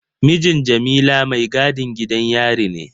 Mijin Jamila maigadin gidan yari ne.